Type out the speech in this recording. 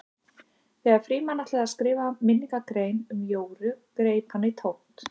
Þegar Frímann ætlaði að skrifa minningargrein um Jóru greip hann í tómt.